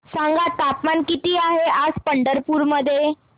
सांगा तापमान किती आहे आज पंढरपूर मध्ये